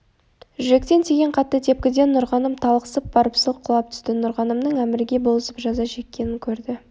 жүректен тиген қатты тепкіден нұрғаным талықсып барып сылқ құлап түсті нұрғанымның әмірге болысып жаза шеккенін көрді